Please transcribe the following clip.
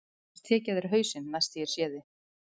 Annars tek ég af þér hausinn næst þegar ég sé þig.